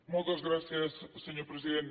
moltes gràcies senyor president